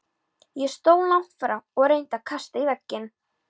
Ég stóð langt frá og reyndi að kasta í vegginn.